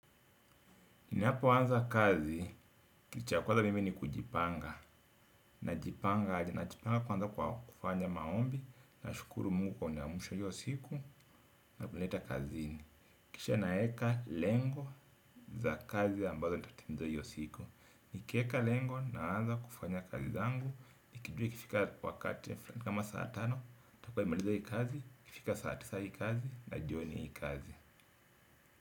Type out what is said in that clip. Ninapo anza kazi, kitu cha kwanza mimi ni kujipanga. Na jipanga aje, na jipanga kwanza kufanya maombi, na shukuru mungu kwa kuniamsha iyosiku, na kunileta kazini. Kisha naeka lengo za kazi ambazo nitatimiza iyosiku. Nikieka lengo na anza kufanya kazi zangu. Nikijua ikifika wakati kama saa tano, takua nimemaliza ii kazi, ikifika saatisa ii kazi, na jioni yi kazi.